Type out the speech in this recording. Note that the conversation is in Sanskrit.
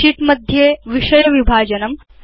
शीट्स् इत्येतेषु विषय विभाजनम्